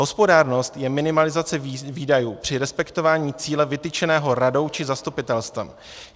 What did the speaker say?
Hospodárnost je minimalizace výdajů při respektování cíle vytyčeného radou či zastupitelstvem.